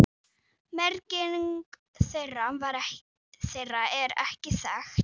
Merking þeirra er ekki þekkt.